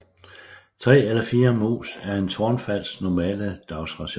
Tre eller fire mus er en tårnfalks normale dagsration